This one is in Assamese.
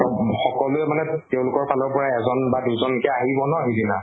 চব সকলোৱা মানে আহিব ন সিদিনা